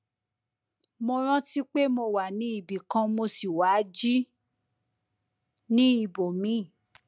mo rántí pé mo wà ní ibì kan mo sì wá jí ní ibòmíì